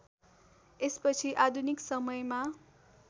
यसपछि आधुनिक समयमा